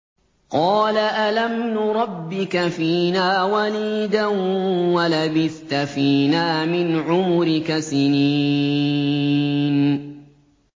قَالَ أَلَمْ نُرَبِّكَ فِينَا وَلِيدًا وَلَبِثْتَ فِينَا مِنْ عُمُرِكَ سِنِينَ